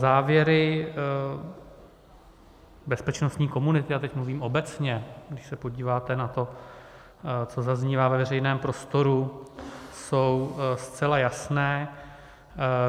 Závěry bezpečnostní komunity, a teď mluvím obecně, když se podíváte na to, co zaznívá ve veřejném prostoru, jsou zcela jasné.